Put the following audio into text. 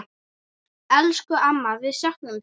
Elsku amma, við söknum þín.